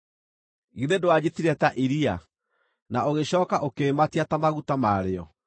Githĩ ndwanjitire ta iria, na ũgĩcooka ũkĩĩmatia ta maguta marĩo,